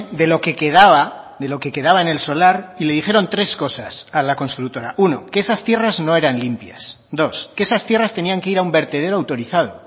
de lo que quedaba de lo que quedaba en el solar y le dijeron tres cosas a la constructora uno que esas tierras no eran limpias dos que esas tierras tenían que ir a un vertedero autorizado